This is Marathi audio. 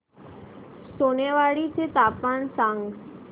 सोनेवाडी चे तापमान सांग